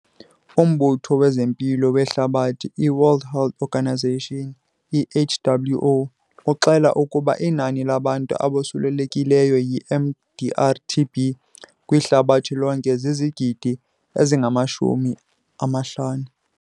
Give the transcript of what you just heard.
UMbutho wezeMpilo weHlabathi, iWorld Health Organisation, iWHO, uxela ukuba inani labantu abosulelekileyo yiMDR-TB kwihlabathi lonke zizigidi ezingama-50.